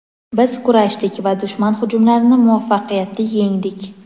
Biz kurashdik va dushman hujumlarini muvaffaqiyatli yengdik.